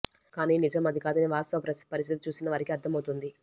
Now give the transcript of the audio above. కానీ నిజం అది కాదని వాస్తవ పరిస్థితి చూసిన వారికి అర్ధం అవుతుంది